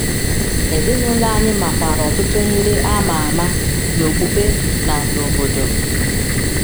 Ezinụlọ anyị makwaara ọtụtụ ndị a ma ama n’okpukpe na n’obodo.